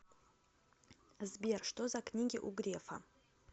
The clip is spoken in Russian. сбер что за книги у грефа